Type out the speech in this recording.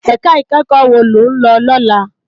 Èká ikèékò wó ló n lò lòlá?